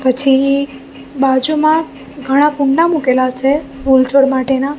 પછી બાજુમાં ઘણા કુંડા મુકેલા છે ફૂડ છોડ માટેના.